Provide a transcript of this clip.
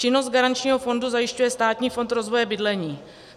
Činnost garančního fondu zajišťuje Státní fond rozvoje bydlení.